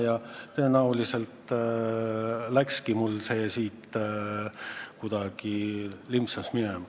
Ja tõenäoliselt sel põhjusel Kreeka kuidagi lipsaski mul minema.